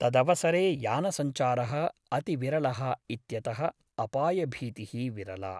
तदवसरे यानसञ्चारः अतिविरलः इत्यतः अपाय भीतिः विरला ।